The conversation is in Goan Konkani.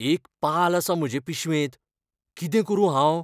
एक पाल आसा म्हजे पिशवेंत. कितें करूं हांव?